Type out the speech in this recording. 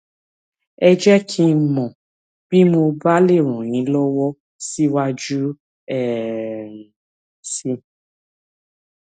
ẹ jẹ kí n mọ bí mo bá lè ràn yín lọwọ síwájú sí um i